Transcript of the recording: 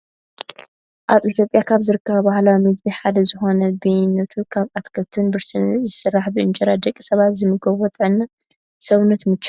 ኣብ ኢትዮጵያ ካብ ዝርከቡ ባህላዊ ምግቢ ሓደ ዝኮነ በያነቱ ካብ ኣትክልትን ብርስንን ዝስራሕ ብእንጀራ ደቂ ሰባት ዝምገብዎ ንጥዕና ሰውነት ምችው እዩ።